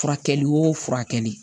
Furakɛli wo furakɛli